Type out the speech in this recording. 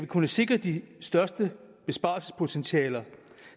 kunne sikre det største besparelsespotentiale